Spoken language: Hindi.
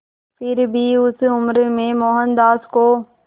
फिर भी उस उम्र में मोहनदास को